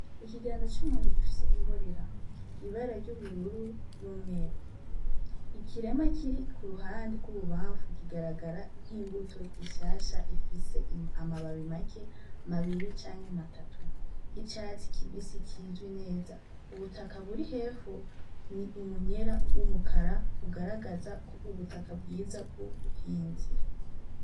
Ikiganza c'umuntu gifise imborera, ibara ry'ubururu n'umweru ikiremwa kiri kuruhande rw'ibubanfu kigaragara nk'imbuto nshasha ifise amababi make abiri canke atatu, icatsi kibisi kizwi neza, ubutaka buri hepfo ni umunyera wirabura ugaragaza ubutaka bwiza bw'ubuhinzi.